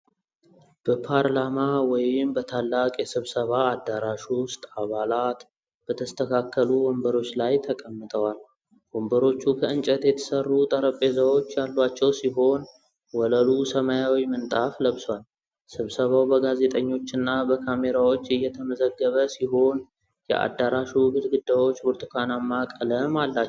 በፓርላማ ወይም በታላቅ የስብሰባ አዳራሽ ውስጥ አባላት በተስተካከሉ ወንበሮች ላይ ተቀምጠዋል። ወንበሮቹ ከእንጨት የተሰሩ ጠረጴዛዎች ያሏቸው ሲሆን ወለሉ ሰማያዊ ምንጣፍ ለብሷል። ስብሰባው በጋዜጠኞችና በካሜራዎች እየተመዘገበ ሲሆን የአዳራሹ ግድግዳዎች ብርቱካናማ ቀለም አላቸው።